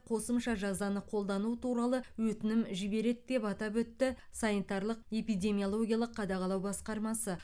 қосымша жазаны қолдану туралы өтінім жібереді деп атап өтті санитарлық эпидемиологиялық қадағалау басқармасы